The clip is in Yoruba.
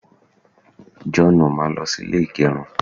joonu, máa lo sí ilè igerun